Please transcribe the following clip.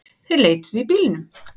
Þeir leituðu í bílunum